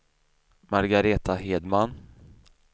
Margaretha Hedman